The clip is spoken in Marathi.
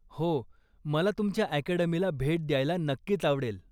हो, मला तुमच्या अकॅडमीला भेट द्यायला नक्कीच आवडेल.